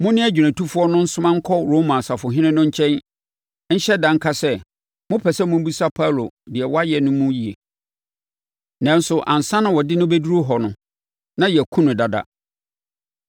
Mo ne agyinatufoɔ no nsoma nkɔ Roma ɔsafohene no nkyɛn nhyɛ da nka sɛ, mopɛ sɛ mobisa Paulo deɛ wayɛ no mu yie. Nanso, ansa na wɔde no bɛduru hɔ no, na yɛakum no dada.”